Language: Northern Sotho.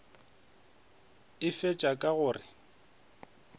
a fetša ka go re